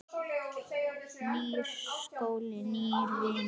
Nýr skóli, nýir vinir.